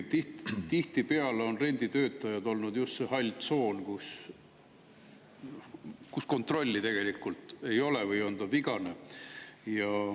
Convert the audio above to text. Tihtipeale on renditöötajad olnud just see hall tsoon, kus kontrolli tegelikult ei ole või on see vigane.